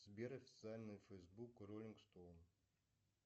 сбер официальный фейсбук роллинг стоун